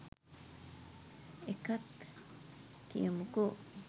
එකත් කියමුකෝ